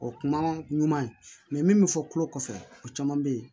O kuma ɲuman ye mɛ min bɛ fɔ tulo kɔfɛ o caman bɛ yen